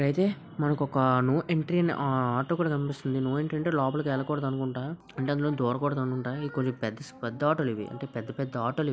ఇక్కడ అయితే మనకి నో ఎంట్రీ అని ఆటో కూడా కనిపిస్తుంది. నో ఎంట్రీ అంటే లోపలికి వెళ్ళకూడదు అనుకుంట. అందులో నుంచి దురకుడదు అనుకుంట .పెద్ద ఆటోలు ఇవి పెద్ద పెద్ద ఆటోలు ఇవి.